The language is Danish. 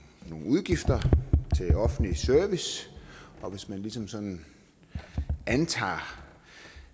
udgifter til offentlig service og hvis man ligesom sådan antager